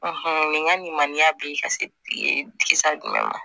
nin ka nin man ɲi bi ka se jumɛn ma